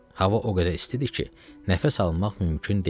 Hava o qədər istidir ki, nəfəs almaq mümkün deyil.